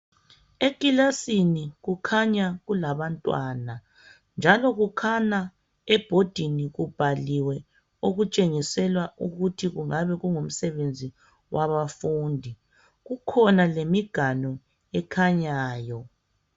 Ekilasini kukhanya kulabantwana njalo kukhanya ebhodini kubhaliwe okutshengisela ukuthi kungabe kungumsebenzi wabafundi. Kukhona lemiganu ekhanyayo